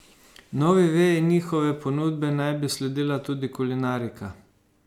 Novi veji njihove ponudbe naj bi sledila tudi kulinarika.